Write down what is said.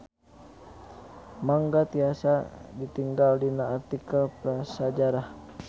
Mangga tiasa ditingal dina artikel Prasajarah.